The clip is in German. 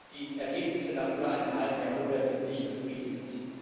Die Ergebnisse nach über einem halben Jahrhundert sind nicht befriedigend.